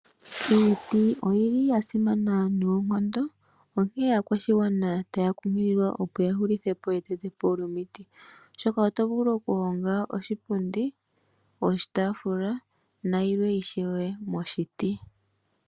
Iiti oyi li ya simana noonkondo, onkee aakwashigwana ta ya kunkililwa opo ya hulithe po etetepo lyomiti, oshoka oto vulu oku honga oshipundi, oshitaafula, nayilwe ishewe moshiti.